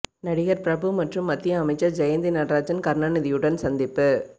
நடிகர் பிரபு மற்றும் மத்திய அமைச்சர் ஜெயந்தி நடராஜன் கருணாநிதியுடன் சந்திப்பு